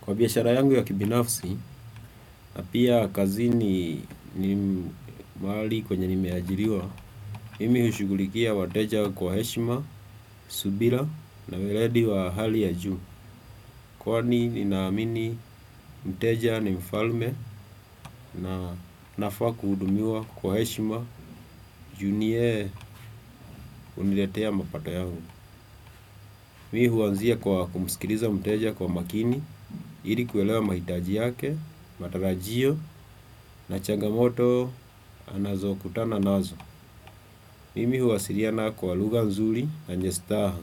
Kwa biashara yangu ya kibinafsi, na pia kazini ni mahali kwenye nimeajiriwa, mimi hushughulikia wateja kwa heshima, subira na weledi wa hali ya juu. Kwani ninaamini mteja ni mfalme na anafaa kuhudumiwa kwa heshima juu ni yeye uniletea mapato yangu. Mimi huanzia kwa kumsikiliza mteja kwa makini ili kuelewa mahitaji yake, matarajio na changamoto anazo kutana nazo. Mimi huwasiliana kwa lugha nzuri na yenye staha.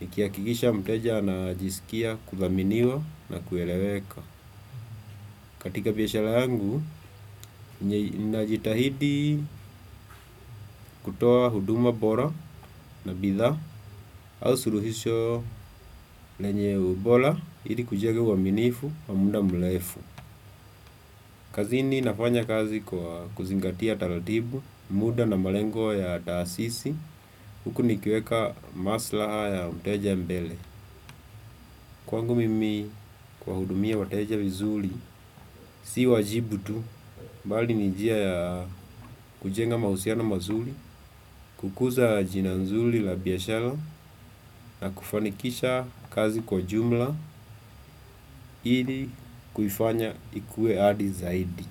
Nikihakikisha mteja anajisikia kuthaminiwa na kueleweka. Katika biashara yangu, ninajitahidi kutoa huduma bora na bithaa au suluhisho lenye ubora ili kujenga uwaminifu wa muda mrefu. Kazini nafanya kazi kwa kuzingatia taratibu, muda na malengo ya taasisi, huku nikiweka masla ya mteja mbele. Kwangu mimi kwa hudumia wateja vizuri, si wajibu tu, bali ni njia ya kujenga mahusiano mazuri, kukuza jina nzuri la biashara, na kufanikisha kazi kwa jumla, ili kufanya ikuwe hadi zaidi.